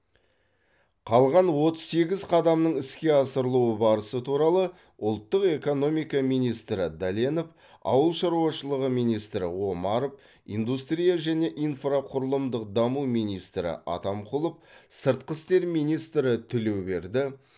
қалған отыз сегіз қадамның іске асырылу барысы туралы ұлттық экономика министрі дәленов ауыл шаруашылығы министрі омаров индустрия және инфрақұрылымдық даму министрі атамқұлов сыртқы істер министрі тілеуберді